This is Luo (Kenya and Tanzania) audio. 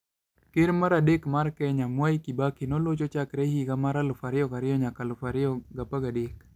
Ker mar adek mar Kenya, Mwai Kibaki, nolocho chakre higa mar 2002 nyaka 2013.